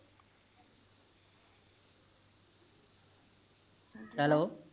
Hello